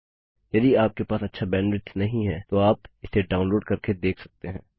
यदि आपके पास अच्छा बैंडविड्थ नहीं है तो आप इसे डाउनलोड करके देख सकते हैं